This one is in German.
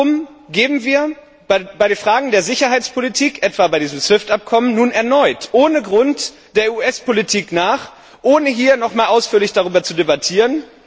Warum geben wir bei den Fragen der Sicherheitspolitik etwa bei diesem SWIFT Abkommen nun erneut ohne Grund der US Politik nach, ohne hier nochmals ausführlich darüber zu debattieren?